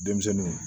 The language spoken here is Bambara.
Denmisɛnninw